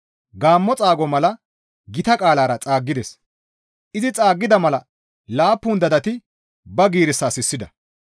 Gaammo xaago mala gita qaalara xaaggides; izi xaaggida mala laappun dadati ba giirissaa sissida.